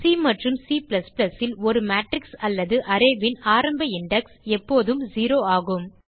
C மற்றும் Cல் ஒரு மேட்ரிக்ஸ் அல்லது arrayன் ஆரம்ப இண்டெக்ஸ் எப்போதும் 0 ஆகும்